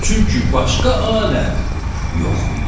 Çünki başqa alət yox idi.